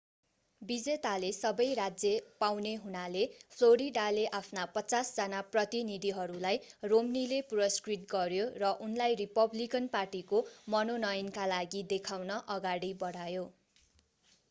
विजेताले सबै राज्य पाउने हुनाले फ्लोरिडाले आफ्ना पचास जना प्रतिनिधिहरूलाई romneyले पुरस्कृत गर्‍यो र उनलाई रिपब्लिकन पार्टीको मनोनयनका लागि देखाउन अगाडि बढायो।